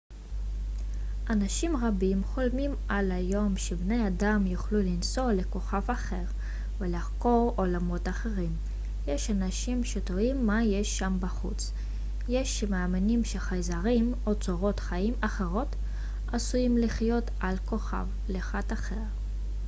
אנשים רבים חולמים על היום שבני אדם יוכלו לנסוע לכוכב אחר ולחקור עולמות אחרים יש אנשים שתוהים מה יש שם בחוץ יש שמאמינים שחייזרים או צורות חיים אחרות עשויים לחיות על כוכב לכת אחר